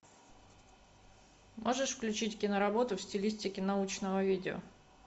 можешь включить киноработу в стилистике научного видео